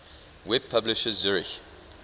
web publisher zurich